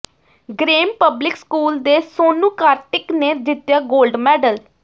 grace Public School ਦੇ ਸੋਨੂੰ ਕਾਰਤਿਕ ਨੇ ਜਿੱਤਿਆ ਗੋਲਡ ਮੈਡਲ